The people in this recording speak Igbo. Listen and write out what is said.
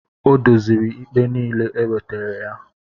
Ọ dozịrị ikpe niile e wetara ya